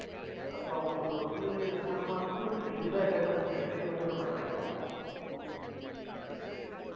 அப்ப அவங்களுக்கு வந்து நம்ம குறிப்பிட்டு இதுதான் entertainment entertainment ன்னு நம்ம நினைக்கிறோம்